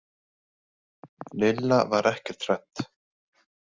Lilla var ekkert hrædd.